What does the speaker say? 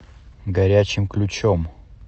горячим ключом